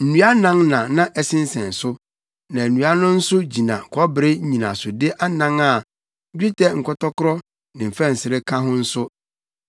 Nnua anan na na ɛsensɛn so, na nnua no nso gyina kɔbere nnyinasode anan a dwetɛ nkɔtɔkoro ne mfɛnsere ka ho nso. Nnua no so nyinaa yɛ dwetɛ.